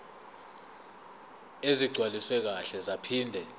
ezigcwaliswe kahle zaphinde